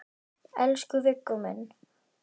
Elsku Viggó minn.